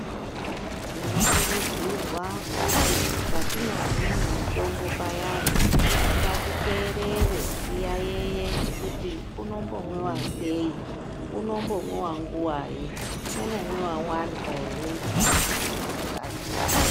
Tino kurudzirwa kuti patino hinwe mitombo payani ngati teerere tiyayiye kuti unombo mwiwa sei unombo mwiwa nguvai unomwiwa warya ere kana kuti usingazi.